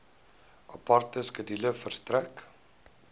aparte skedule verstrek